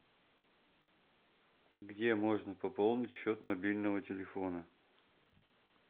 где можно пополнить счет мобильного телефона